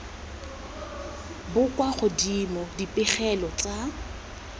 bo kwa godimo dipegelo tsa